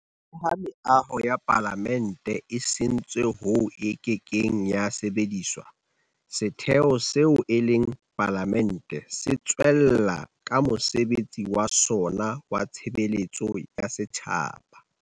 Leha meaho ya Palamente e sentswe hoo e kekeng ya sebediswa, setheo seo e leng Palamente se tswella ka mosebetsi wa sona wa tshebeletso ya setjhaba.